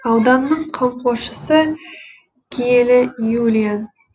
ауданның қамқоршысы киелі юлиан